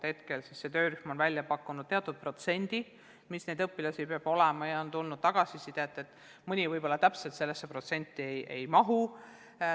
Hetkel on töörühm välja pakkunud teatud protsendi, palju neid õpilasi peab olema, et toetust saada, ja on tulnud tagasisidet, et mõni kool võib-olla täpselt sellesse protsenti ei mahu.